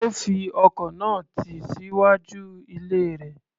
Ó fi ọkọ̀ náà tì síwájú ilé rẹ̀.